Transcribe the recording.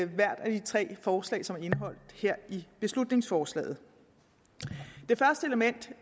hvert af de tre forslag som er indeholdt her i beslutningsforslaget det første element